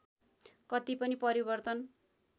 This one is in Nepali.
कति पनि परिवर्तन